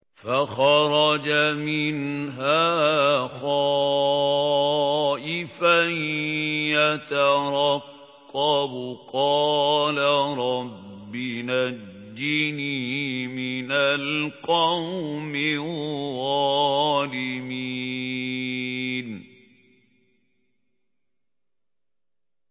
فَخَرَجَ مِنْهَا خَائِفًا يَتَرَقَّبُ ۖ قَالَ رَبِّ نَجِّنِي مِنَ الْقَوْمِ الظَّالِمِينَ